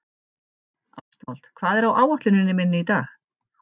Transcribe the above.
Ástvald, hvað er á áætluninni minni í dag?